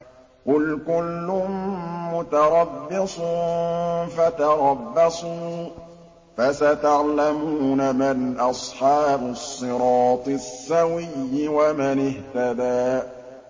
قُلْ كُلٌّ مُّتَرَبِّصٌ فَتَرَبَّصُوا ۖ فَسَتَعْلَمُونَ مَنْ أَصْحَابُ الصِّرَاطِ السَّوِيِّ وَمَنِ اهْتَدَىٰ